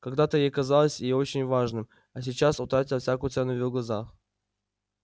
когда-то это казалось ей очень важным а сейчас утратило всякую цену в её глазах